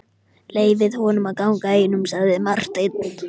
Leyfið honum að ganga einum, sagði Marteinn.